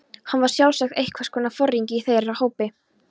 Hann var sjálfsagt einhvers konar foringi í þeirra hópi.